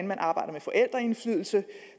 man arbejder med forældreindflydelse